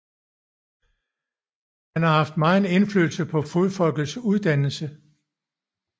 Han har haft megen indflydelse på Fodfolkets uddannelse